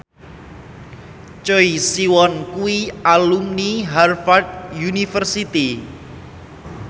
Choi Siwon kuwi alumni Harvard university